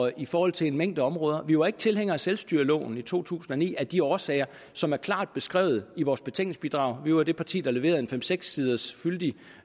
i forhold til en mængde områder vi var ikke tilhængere af selvstyreloven i to tusind og ni af de årsager som er klart beskrevet i vores betænkningsbidrag vi var det parti der leverede en fem seks siders fyldig